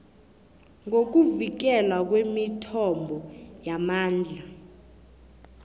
ngokuvikelwa kwemithombo yamandla